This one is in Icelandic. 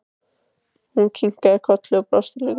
Hún kinkaði kolli og brosti líka.